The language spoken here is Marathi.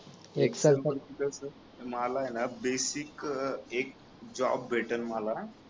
एक्सेल पण जसं मला आहे ना बेसिक एक जॉब भेटेल मला